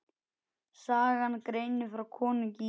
Sagan greinir frá konungi í